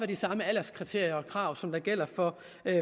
de samme alderskriterier og krav som gælder for